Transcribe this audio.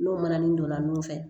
N'o manani donna nun fɛ